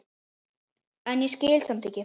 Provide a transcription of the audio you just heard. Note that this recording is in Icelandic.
en ég skil samt ekki.